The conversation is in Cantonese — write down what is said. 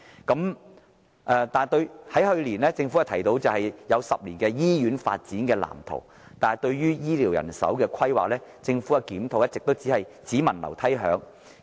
政府去年提出10年的醫院發展藍圖，但對於醫療人手的規劃，政府的檢討一直只聞樓梯響。